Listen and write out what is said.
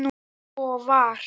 Svo var.